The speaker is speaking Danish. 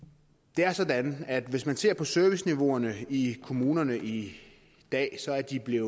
det er sådan at hvis man ser på serviceniveauerne i kommunerne i dag så er de blevet